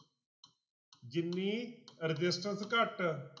ਜਿੰਨੀ resistance ਘੱਟ